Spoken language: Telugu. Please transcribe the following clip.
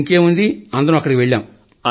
ఇంకేముంది అందరం అక్కడి వెళ్లాం